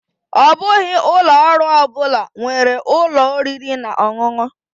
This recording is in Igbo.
Ọ bụghị ụlọ ọrụ ọ bụla nwere ụlọ oriri na ọṅụṅụ.